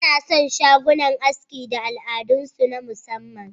An san shagunan aski da al'adunsu na musamman